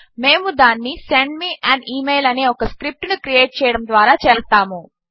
మేము దానిని send me an email అనే ఒక స్క్రిప్ట్ ను క్రియేట్ చేయడము ద్వారా చేస్తాము